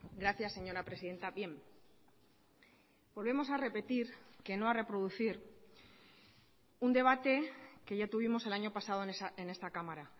gracias señora presidenta bien volvemos a repetir que no a reproducir un debate que ya tuvimos el año pasado en esta cámara